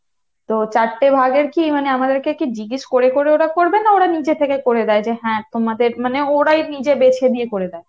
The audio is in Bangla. তো চারটে ভাগের কী মানে আমাদের কি জিজ্ঞেস করে করে ওরা করবে না ওরা নিজে থেকে করে দেয় যে হ্যাঁ তোমাদের মানে ওরাই নিজে বেছে দিয়ে করে দেয় ?